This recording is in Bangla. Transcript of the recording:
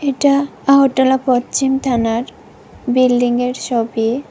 এটা আগরতলা পচ্চিম থানার বিল্ডিংয়ের ছবি।